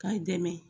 K'a dɛmɛ